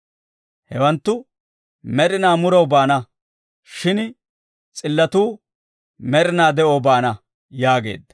Hewanttu med'inaa muraw baana; shin s'illatuu med'inaa de'oo baana» yaageedda.